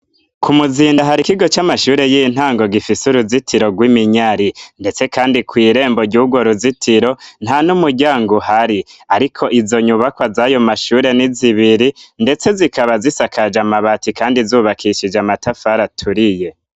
Ku muzinda hari ikigo c'amashure y'intango gifise uruzitiro rw'iminyare ndetse kandi ku irembo gihugo ruzitiro nta n'umujyango uhari ariko izo nyubakwa zayo mashure n'izibiri ndetse zikaba zisakaje amabati kandi zubakishije amatafara aturiye.